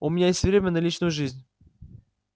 у меня есть время на личную жизнь